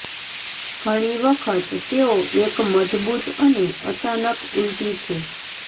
ઘણી વખત તેઓ એક મજબૂત અને અચાનક ઉલટી છે